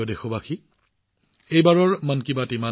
মোৰ মৰমৰ দেশবাসীসকল মন কী বাতত এইবাৰলৈ ইমানেই